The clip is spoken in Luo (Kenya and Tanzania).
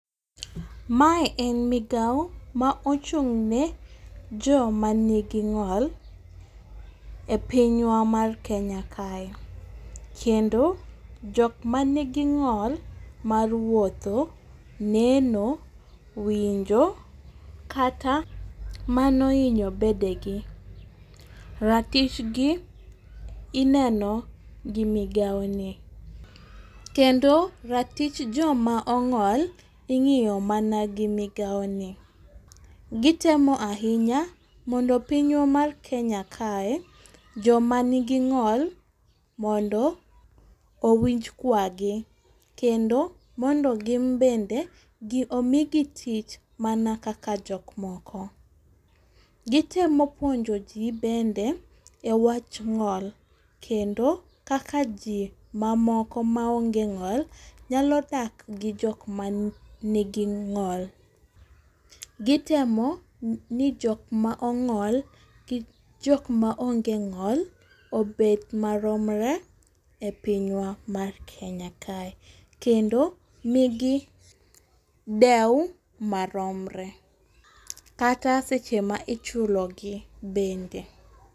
Mae en migaw ma ochung' ne joma nigi ng'ol e piny wa mar Kenya kae. Kendo, jok manigi ng'ol mar wuotho, neno, winjo, kata mano hinyo bede gi. Ratich gi ineno gi migaw ni. Kendo, ratich joma ong'ol ing'iyo mana gi migaw ni. Gitemo ahinya mondo piny wa mar Kenya kae joma nigi ng'ol mondo owinj kwa gi kendo mondo gin bende omigi tich mana kaka jok moko. Gitemo puonjo gi bende e wach ng'ol. Kendo kaka ji mamoko maonge ng'ol nyalo dak gi jok manigi ng'ol. Gitemo ni jok ma ong'ol gi jok ma onge ng'ol obed maromre e piny wa mar Kenya kae. Kendo nigi dew maromre. Kata seche ma ichulo gi bende.